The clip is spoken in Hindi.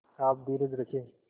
आप धीरज रखें